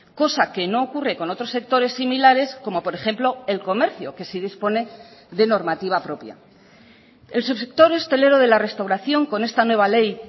cosa que no ocurre con otros sectores similares como por ejemplo el comercio que sí dispone de normativa propia el subsector hostelero de la restauración con esta nueva ley